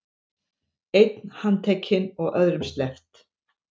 Einn handtekinn og öðrum sleppt